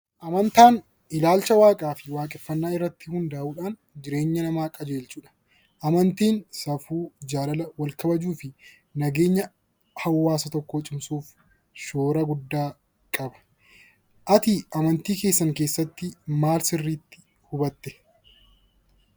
Amantaan ilaalcha waaqaa fi waaqeffannaa irratti hundaa'uudhaan jireenya namaa qajeelchudha. Amantiin safuu, jaalala, wal kabajuu fi nageenya hawaasa tokkoo cimsuuf shoora guddaa qaba. Ati amantii keessatti maal sirriitti hubattee?